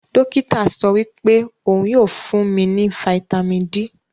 Dokita sowipe ohun yoo fun mi ni Fítàmì D.